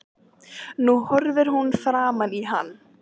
Nú horfir hún framan í hann.